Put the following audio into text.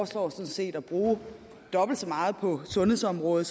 sådan set at bruge dobbelt så meget på sundhedsområdet